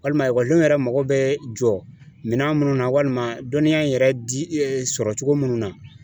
Walima ekɔlidenw yɛrɛ mago bɛ jɔ minɛn minnu na, walima dɔnniya in yɛrɛ di sɔrɔ cogo minnu na.